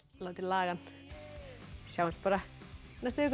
láti laga hann sjáumst bara í næstu viku